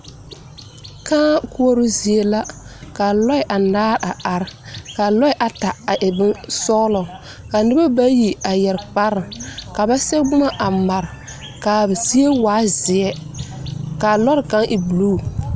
Car koɔroo zie la ka lɔɛ a are ka lɔɛ ata a e bonsɔglɔ ka noba bayi a yɛre kpare ka ba sɛge boma a mare ka a zie waa zeɛ ka a lɔɔre kaŋ e blue.